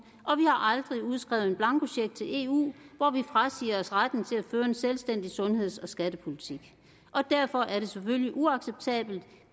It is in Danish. og vi har aldrig udskrevet en blankocheck til eu hvor vi frasiger os retten til at føre en selvstændig sundheds og skattepolitik og derfor er det selvfølgelig uacceptabelt